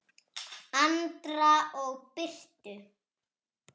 Andra og Birtu.